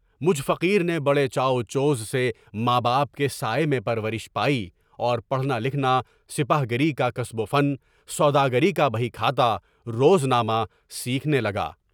مجھ فقیر نے بڑے چاو چوز سے ماں باپ کے سائے میں پرورش پائی اور پڑھنا لکھنا، سپاہ گری کا کسب و فن، سوداگری کا بھئ کھا تا، روزنامہ، سیکھنے لگا۔